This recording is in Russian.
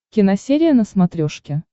киносерия на смотрешке